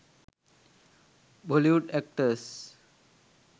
bollywood actors